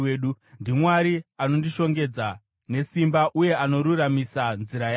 NdiMwari anondishongedza nesimba uye anoruramisa nzira yangu.